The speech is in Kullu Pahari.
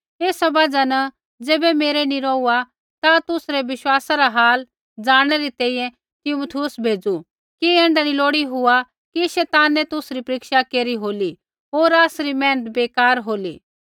एसा बजहा न ज़ैबै मेरै नी रौहुआ ता तुसरै विश्वासा रा हाल ज़ाणनै री तैंईंयैं तिमुथियुसा भेज़ू कि ऐण्ढा नी लोड़ी हुआ कि शैतानै तुसरी परीक्षा केरी होली होर आसरी मेहनत बेकार होली